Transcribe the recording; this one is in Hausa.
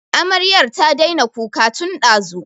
Amaryar ta daina kuka tin ɗazu